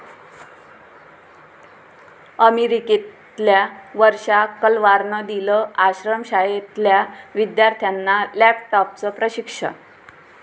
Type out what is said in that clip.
अमेरिकेतल्या वर्षा कलवारनं दिलं आश्रमशाळेतल्या विद्यार्थ्यांना लॅपटॉपचं प्रशिक्षण